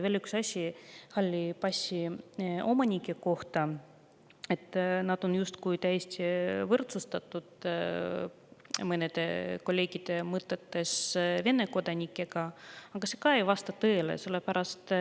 Veel üks asi halli passi omanike kohta: nad on mõnede kolleegide mõtetes justkui täiesti võrdsustatud Vene kodanikega, aga see ei vasta tõele.